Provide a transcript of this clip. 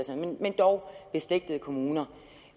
dog beslægtede kommuner